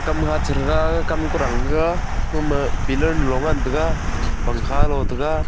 hamha cherega kam kurang rega oma pillar nu lo ngan taiga pangkha lo tega.